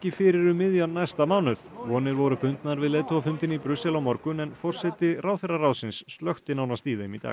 fyrir um miðjan næsta mánuð vonir voru bundnar við leiðtogafundinn í Brussel á morgun en forseti ráðherraráðsins slökkti nánast í þeim í dag